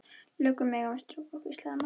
Löggur mega ekki skrökva, hvíslaði Magga.